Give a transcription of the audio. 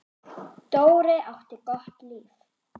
Dóri átti gott líf.